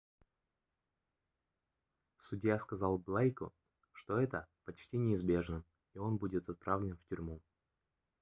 судья сказал блейку что это почти неизбежно и он будет отправлен в тюрьму